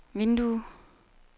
vindue